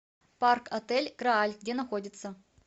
парк отель грааль где находится